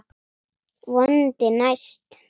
Vonandi næst.